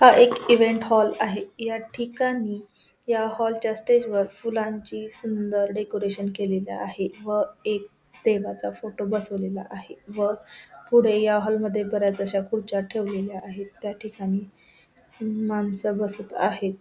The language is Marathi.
हा एक इवेंट हॉल आहे या ठिकाणी या हॉलच्या स्टेजवर फुलांची सुंदर डेकोरेशन केलेल आहे व एक देवाचा फोटो बसवलेला आहे व पुढे या हॉल मध्ये बऱ्याच अश्या खुर्च्या ठेवलेल्या आहेत त्याठिकाणी माणसं बसत आहेत.